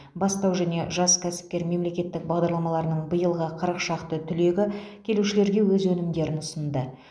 бастау және жас кәсіпкер мемлекеттік бағдарламаларының биылғы қырық шақты түлегі келушілерге өз өнімдерін ұсынды